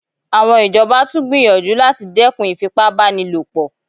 Àwọn ìjọba tún gbìyànjú láti dẹ́kun ìfipá báni lò pọ̀